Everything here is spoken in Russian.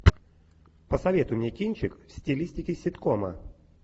посоветуй мне кинчик в стилистике ситкома